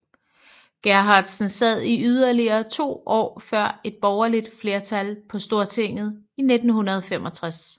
Gerhardsen sad i yderligere to år før et borgerligt flertal på Stortinget i 1965